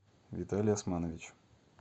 виталий османович